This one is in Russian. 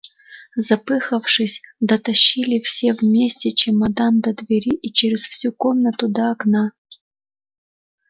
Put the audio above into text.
запыхавшись дотащили все вместе чемодан до двери и через всю комнату до окна